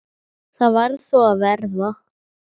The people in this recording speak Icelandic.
Það varð þó að verða.